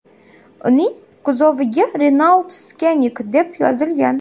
Uning kuzoviga Renault Scenic deb yozilgan.